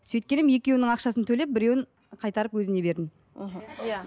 сөйткен едім екеуінің ақшасын төлеп біреуін қайтарып өзіне бердім мхм иә